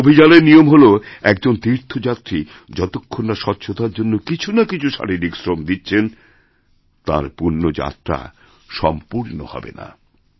সে অভিযানেরনিয়ম হল একজন তীর্থযাত্রী যতক্ষণ না স্বচ্ছতার জন্য কিছু না কিছু শারীরিক শ্রমদিচ্ছেন তাঁর পূণ্যযাত্রা সম্পূর্ণ হবে না